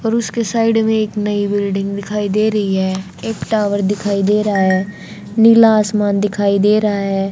और उसके साइड में एक नई बिल्डिंग दिखाई दे रही है एक टावर दिखाई दे रहा है नीला आसमान दिखाई दे रहा है।